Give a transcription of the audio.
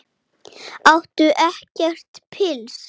Áttu ekkert pils?